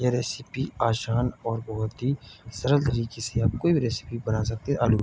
यह रेसिपी आसान और बहुत ही सरल तारीके से आप कोई भी रेसिपी बना सकते हैं आलू --